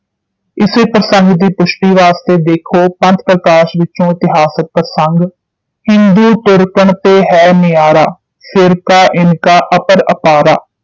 ਇਸੇ ਪ੍ਰਸੰਗ ਦੀ ਪੁਸ਼ਟੀ ਵਾਸਤੇ ਦੇਖੋ ਪੰਥ ਪ੍ਰਕਾਸ਼ ਵਿਚੋਂ ਇਤਿਹਾਸਿਕ ਪ੍ਰਸੰਗਕ ਹਿੰਦੂ ਤੁਰਕਨ ਤੇ ਹੈ ਨਜਾਰਾ ਫਿਰਕਾ ਇਨਕਾ ਅਪਰ ਅਪਾਰਾ